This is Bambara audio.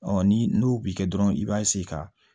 ni n'o bi kɛ dɔrɔn i b'a ka